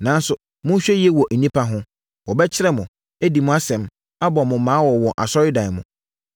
Nanso, monhwɛ yie wɔ nnipa ho! Wɔbɛkyere mo, adi mo asɛm, abɔ mo mmaa wɔ wɔn asɔredan mu.